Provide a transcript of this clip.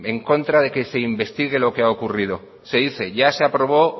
en contra de que se investigue lo que ha ocurrido se dice que ya se aprobó